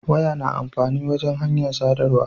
Waya na amfani wajan hanyar sadarwa